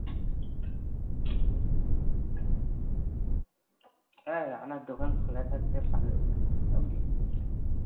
ঐ রানা দোকান খুল থাকত ভালো হতো